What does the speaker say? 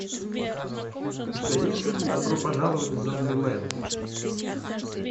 у тебя есть фильм добро пожаловать в зомбиленд